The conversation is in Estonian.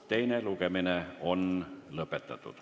Teine lugemine on lõppenud.